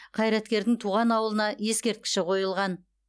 қайраткердің туған ауылына ескерткіші қойылған